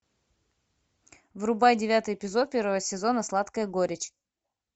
врубай девятый эпизод первого сезона сладкая горечь